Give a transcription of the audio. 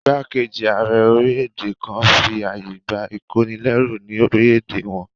Ìgbákejì ààrẹ orílẹ̀-èdè kan fi àyè gbà ìkónilẹ́rú ní orílẹ̀-èdè wọn